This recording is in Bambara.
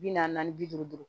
Bi naani naani bi duuru